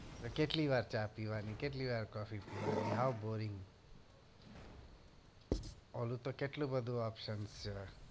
તો કેટલું વાર ચા પીવા ની કેટલી વાર coffee પીવાની how boring ઓલું તો કેટલું બધું option છે.